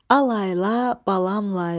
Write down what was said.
Al layla, balam layla.